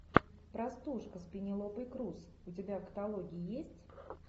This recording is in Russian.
простушка с пенелопой крус у тебя в каталоге есть